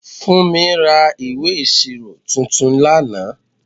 Funmi ra ìwé ìṣirò tuntun lánàá.